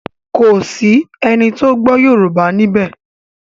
Kọ sí ẹní tó gbó yorùbá níbè.